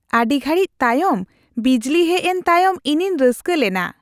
ᱟᱹᱰᱤ ᱜᱷᱟᱹᱲᱤᱡᱽ ᱛᱟᱭᱚᱢ ᱵᱤᱡᱽᱞᱤ ᱦᱮᱡ ᱮᱱ ᱛᱟᱭᱚᱢ ᱤᱧᱤᱧ ᱨᱟᱹᱥᱠᱟᱹ ᱞᱮᱱᱟ ᱾